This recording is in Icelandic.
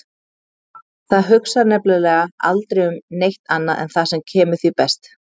Það hugsar nefnilega aldrei um neitt annað en það sem kemur því best.